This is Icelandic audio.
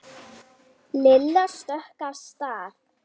Lilla stökk af stað.